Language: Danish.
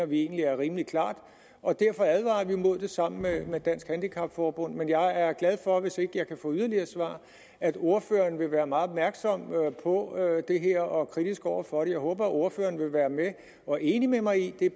vi egentlig er rimelig klart og derfor advarer vi imod det sammen med dansk handicap forbund men jeg er glad for hvis ikke jeg kan få yderligere svar at ordføreren vil være meget opmærksom på det her og kritisk over for det jeg håber at ordføreren vil være med og er enig med mig i i